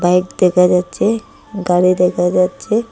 Bike দেখা যাচ্ছে গাড়ি দেখা যাচ্ছে।